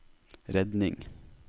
redning